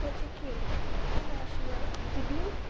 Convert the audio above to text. котики я знаю шо я дебил